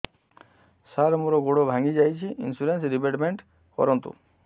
ସାର ମୋର ଗୋଡ ଭାଙ୍ଗି ଯାଇଛି ଇନ୍ସୁରେନ୍ସ ରିବେଟମେଣ୍ଟ କରୁନ୍ତୁ